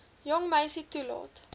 jong meisie toelaat